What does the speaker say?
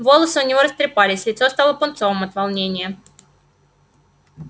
волосы у него растрепались лицо стало пунцовым от волнения